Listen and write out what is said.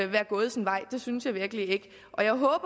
være gået sin vej det synes jeg virkelig ikke og jeg håber